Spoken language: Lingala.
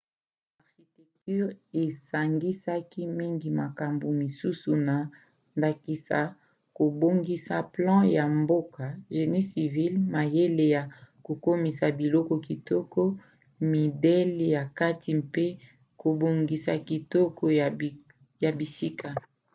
architecture esangisaka mingi makambo mosusu na ndakisa kobongisa plan ya mboka génie civil mayele ya kokomisa biloko kitoko midele ya kati mpe kobongisa kitoko ya bisika